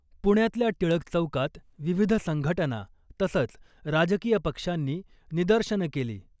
पुण्यातल्या टिळक चौकात विविध संघटना तसंच राजकीय पक्षांनी निदर्शनं केली .